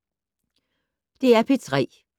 DR P3